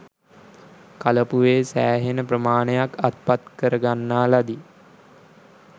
කලපුවේ සෑහෙන ප්‍රමාණයක් අත්පත් කර ගන්නා ලදී